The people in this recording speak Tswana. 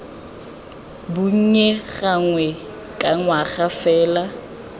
bonnye gangwe ka ngwaga fa